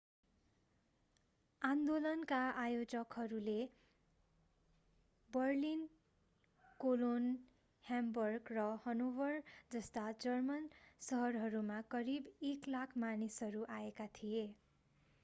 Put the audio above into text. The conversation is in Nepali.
आन्दोलनका आयोजकहरूले बर्लिन कोलोन ह्याम्बर्ग र हनोभर जस्ता जर्मन शहरहरूमा करिब 100,000 मानिसहरू आएका थिए भने